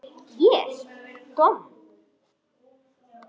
Ég domm?